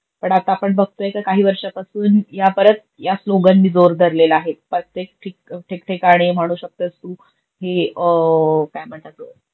पण आता आपण बगतोय का काही वर्षापासुन या परत या स्लोगणनी जोर धरलेला आहे प्रतेक ठीक ठिकाणी म्हणू शकतेस तु हे काय म्हणतात